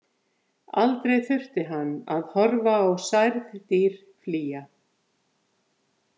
Aldrei þurfti hann að horfa á særð dýr flýja.